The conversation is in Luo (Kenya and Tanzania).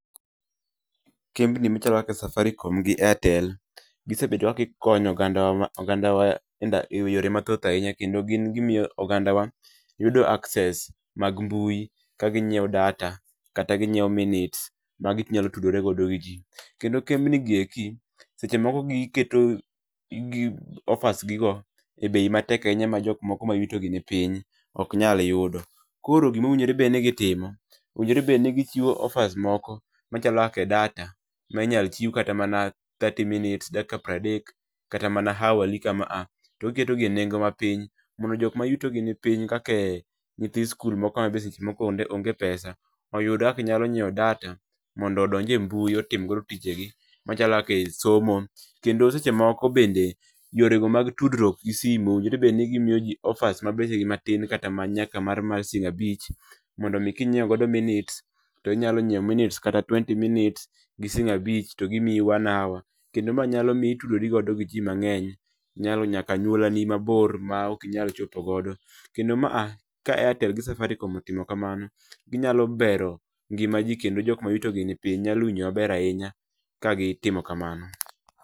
Kembni machalo kaka Safaricom gi Airtel, gisebedo ka gikonyo ogandawa e yore mathoth ahinya kendo gin gimiyo ogandawa yudo access mag mbui ka ginyiewo data kata ginyiewo minutes ma ginyalo tudoregodo gi jii, kendo kembnigi eki, sechemoko giketo offers gigo e bei matek ahinya ma jokmokomayuto gi ni piny oknyalyudo. Koro gimowinjorebedni gitimo, owinjorebedni gichiwo offers moko machalo kaka e data ma inyalochiw kata mana thirty minutes dakika pradek kata mana hourly kama a to giketogi e nengo ma piny, mondo jokma yutogi ni piny, kake nyithi skul moko ma be sechemoko onge pesa oyud kaka nyalo nyieo data, mondo odonj e mbui otim godo tijegi machalo kaka e somo, kendo sechemoko bende yorego mag tudrwok gi sim owinjorebedni gimiyojii offers ma bechgi matin kata nyaka mar siling abich mondomi kinyieo godo minutes to inyalonyieo minutes kata twenty minutes gi siling abich to gimiyi one hour, kendo mae nyalomi itudorigodo gi jii mang'eny nyaka anyuolani ma nimabor ma okinyal chopo godo kendo maa aka Airtel gi Safaricom otimo kamano ginyalobero ngima jii kendo jokma yuto gii ni piny nyalowinjo maber ahinya ka gitimo kamano.